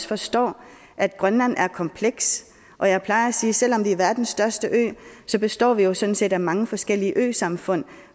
forstår at grønland er komplekst og jeg plejer at sige at selv om vi er verdens største ø består vi jo sådan set af mange forskellige øsamfund